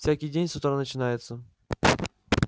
всякий день с утра начинается